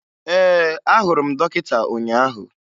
Ee, ahụrụ m dọkịta ụnyaahụ